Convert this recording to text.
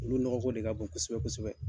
Olu nɔgɔko de ka bon kosɛbɛkosɛbɛ